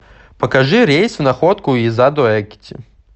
покажи рейс в находку из адо экити